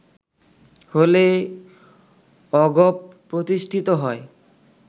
হলে অগপ প্রতিষ্ঠিত হয়